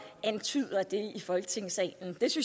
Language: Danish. folk tid